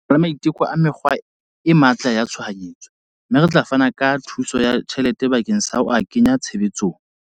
Re na le maiteko a mekgwa e matla ya tshohanyetso, mme re tla fana ka thuso ya tjhelete bakeng sa ho a kenya tshebetsong.